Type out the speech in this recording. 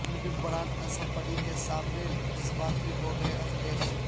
اپنے ممبران اسمبلی کے سامنے جذباتی ہو گئے اکھلیش